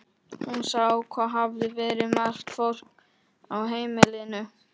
Hún sá hvað hafði verið margt fólk á heimilinu.